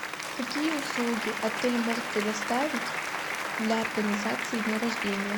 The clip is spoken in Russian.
какие услуги отель может предоставить для организации дня рождения